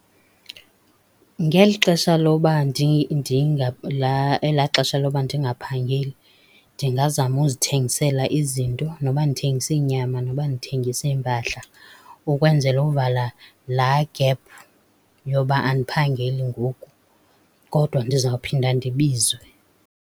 Ngeli xesha lokuba ela xesha lokuba ndingaphangeli ndingazama uzithengisela izinto, noba ndithengisa iinyama, noba ndithengisa iimpahla ukwenzela uvala la gephu yokuba andiphangeli ngoku. Kodwa ndizawuphinda ndibizwe.